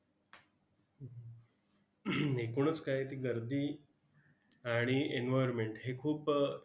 हम्म एकूणच काय ती गर्दी आणि environment हे खूप